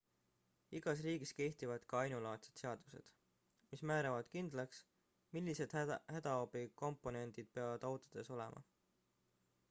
igas riigis kehtivad ka ainulaadsed seadused mis määravad kindlaks millised hädaabikomplektid peavad autodes olema